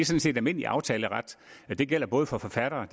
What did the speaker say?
set almindelig aftaleret og det gælder både for forfattere og